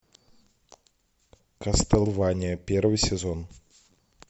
кастлвания первый сезон